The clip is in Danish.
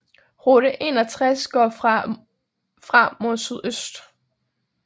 Route 61 går fra mod sydøst